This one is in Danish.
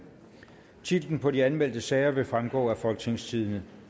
titlerne på de anmeldte sager vil fremgå af folketingstidende